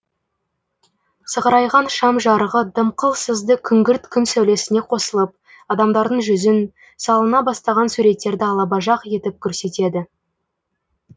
сығырайған шам жарығы дымқыл сызды күңгірт күн сәулесіне қосылып адамдардың жүзін салына бастаған суреттерді алабажақ етіп көрсетеді